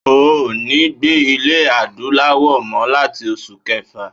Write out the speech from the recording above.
O ò ní gbé ní ile Adúláwò mó láti oṣù kẹfà.